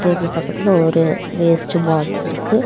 Table பக்கத்துல ஒரு waste box இருக்கு.